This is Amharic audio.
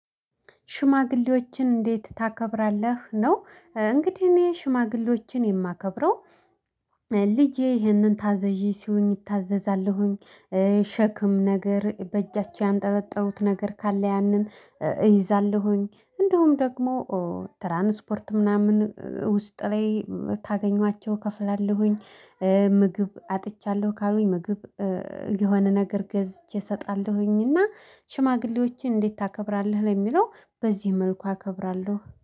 ሽማግሌዎችን እንዴት ታከብራለህ? ነው እንግዲህ እኔ ሽማግሌዎችን የማከብረው። ልጄ ይህንን ታዘዢ ሲሉኝ እታዘዛለሁኝ። ሸክም ነገር በእጃቸው ያንጠለጠሉት ነገር ካለ ያንን እይዛለሁኝ። እንዲሁም ደግሞ ትራንስፖርት ምናምን ውስጥ ላይ ታገኟቸው እከፍላለሁኝ። ምግብ አጥቻለሁ ካሉኝ ምግብ የሆነ ነገር ገዝቼ እሰጣለሁኝና። ሽማግሌዎችን እንዴት ታከብራለህ ለሚለው በዚህ መልኩ አከብራለሁ